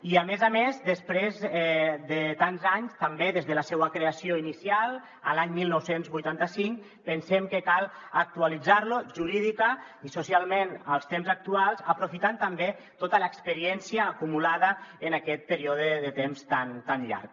i a més a més després de tants anys també des de la seua creació inicial l’any dinou vuitanta cinc pensem que cal actualitzar lo jurídicament i socialment als temps actuals aprofitant també tota l’experiència acumulada en aquest període de temps tan llarg